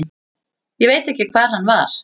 Ég veit ekki hver hann var.